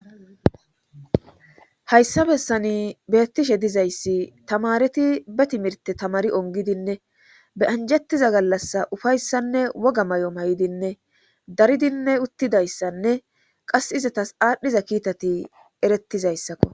Hayssa bessani beettishe dizayssi tamareti be timirte tamari ongidinne beyanjettiza gallass ufayssanne woga may7o may7idinne daridinne uttidayssanne qas izatas aadhdhiza kiitati erettizayssakko